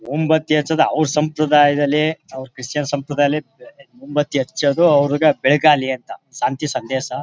ಮುಂಬತ್ತಿ ಹಚ್ಚುವುದು ಅವರ ಸಂಪ್ರದಾಯದಲ್ಲಿ ಅವರ ಕ್ರೈಸ್ಟಿಯನ್ ಸಂಪ್ರದಾಯದಲ್ಲಿ ಮುಂಬತ್ತಿಯನ್ನು ಹಚ್ಚುವುದು ಅವ್ರಿಗೆ ಬೆಳಕಾಗಲಿ ಅಂತ ಶಾಂತಿ ಸಂದೇಶ.